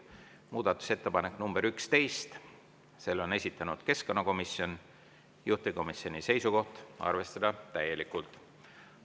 Muudatusettepanek nr 11, selle on esitanud keskkonnakomisjon, juhtivkomisjoni seisukoht on arvestada täielikult.